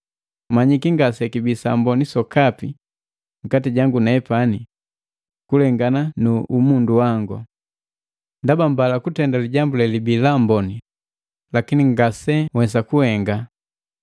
Manyiki ngasekibi samboni sokapi nkati jangu nepani, kulengana nu umundu wangu. Ndaba mbala kutenda lijambu lelibii laamboni, lakini ngase nhwesa kuhenga.